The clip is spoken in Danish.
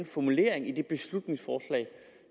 formuleringen i det beslutningsforslag